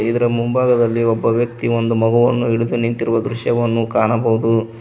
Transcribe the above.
ಇದರ ಮುಂಭಾಗದಲ್ಲಿ ಒಬ್ಬ ವ್ಯಕ್ತಿ ಒಂದು ಮಗುವನ್ನು ಹಿಡಿದು ನಿಂತಿರುವ ದೃಶ್ಯವನ್ನು ಕಾಣಬಹುದು.